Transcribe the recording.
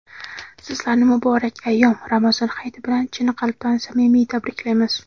Sizlarni muborak ayyom — Ramazon hayiti bilan chin qalbdan samimiy tabriklaymiz.